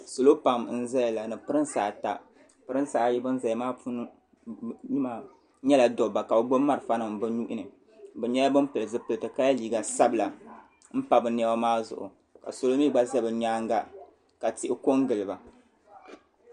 Salo pam n zaya la ni pirinsi ata pirinsi ayi ban zaya maa puuni maa nyɛla dobba ka bɛ gbibi marafa nima bɛ nuhini bɛ nyɛla ban pili zipilti ka ye liiga sabla m pa bɛ niɛma maa zuɣu ka salo mɛɛ gba za bɛ nyaanga ka tihi ko n gili ba.